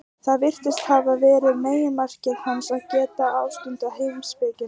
Það virðist hafa verið meginmarkmið hans, að geta ástundað heimspekina.